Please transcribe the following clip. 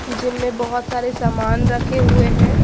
Gym में बहुत सारे सामान रखे हुए हैं।